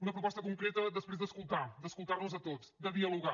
una proposta concreta després d’escoltar nos a tots de dialogar